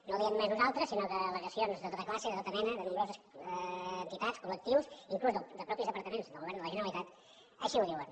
no ho diem només nosaltres sinó que al·legacions de tota classe de tota mena de nombroses entitats col·lectius inclús de mateixos departaments de la generalitat així ho diuen